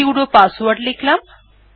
sudo password লিখলাম